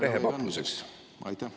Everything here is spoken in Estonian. Rehepapluseks?